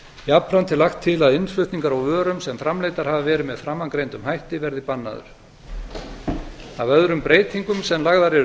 jafnframt er lagt til að innflutningur á vörum sem framleiddar hafa verið með framangreindum hætti bæði bannaður af öðrum breytingum sem lagðar eru